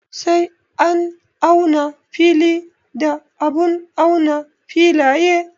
Sai an auna fili da abun auna filaye.